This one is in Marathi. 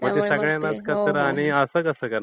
त्यामुळे मग ते...